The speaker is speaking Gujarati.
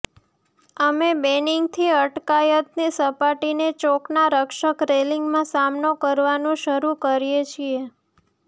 અમે બૅનિંગથી અટકાયતની સપાટીને ચોકના રક્ષક રેલિંગમાં સામનો કરવાનું શરૂ કરીએ છીએ